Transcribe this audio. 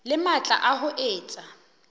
le matla a ho etsa